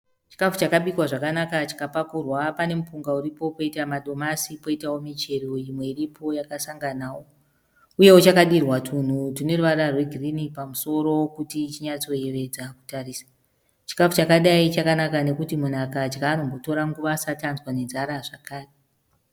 Chikafu chakabikwa zvakanaka chikapakurwa. Pane mupunga uripo kwoita madomasi kwoitawo michero imwe iripo yakasanganawo. Uyewo chakadirwa tunhu tune ruvara rwegirini pamusoro kuti chinyatsoyevedza kutarisa. Chikafu chakadai chakanaka nokuti munhu akadya anombotora nguva asati anzwa nenzara zvakare.